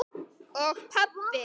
og pabbi.